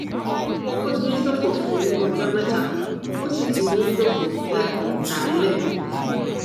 ó ti ń ṣòfò fún ọjọ mẹta ó sì ti ń ṣòfò lẹẹkan tàbí lẹẹmejì